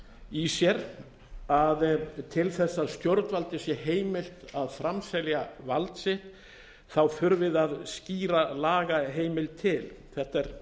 í sér að til þess að stjórnvaldi sé heimilt að framselja vald sitt þurfi það skýra lagaheimild til þetta er